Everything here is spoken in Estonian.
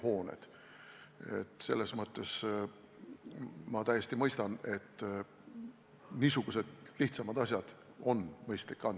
Tõepoolest, eramute puhul, kus inimesed elama hakkavad, on kindlasti nõudmised oluliselt kõrgemad, aga siin tuleb mängu juba projektdokumentatsioon ja selle kontrollimine, et ehitis tõepoolest vastab sellele, mis projektdokumentatsioonis kirjas on.